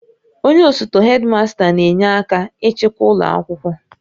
Onye osote hedimasta n'enye aka ịchịkwa ụlọ akwụkwọ